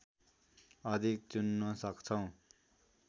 अधिक चुन्न सक्छौँ